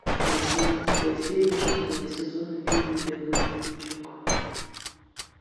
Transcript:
восемнадцатая серия шестого сезона фильма белый воротничок